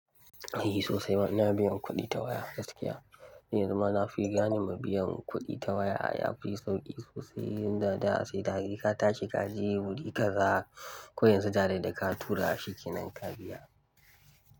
E sosai ma ina biyan kuɗi ta waya, gaskiya, yanzu ma na fi gane ma biyan kuɗi ta waya yafi sauƙi sosai. Yan dada sai dare ka tashi kaji kuɗi kaza koyan yanzu direct da ka tura shi kenan ka biya.